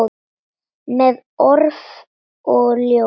Með orf og ljá.